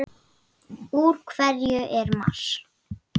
Úr hverju er Mars?